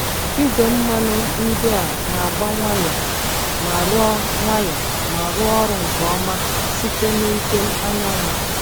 Igwe mmanụ ndị a na-agba nwayọ ma rụọ nwayọ ma rụọ ọrụ nke ọma site na ike anyanwụ.